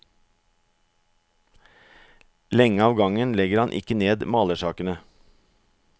Lenge av gangen legger han ikke ned malersakene.